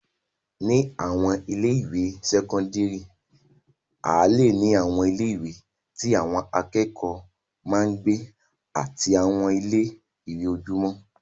Ni àwọn ilé-ìwé sẹ́kọ́ńdírì, a leè ní àwọn ilé-ìwé tí àwọn akẹ́kọ̀ọ́ máa ń gbé àti àwọn ilé-ìwé ojúmọ́.